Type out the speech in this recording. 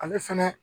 Ale fɛnɛ